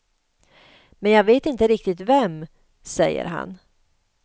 Men jag vet inte riktigt vem, säger han.